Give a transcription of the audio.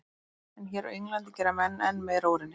En hér á Englandi gera menn enn meira úr henni.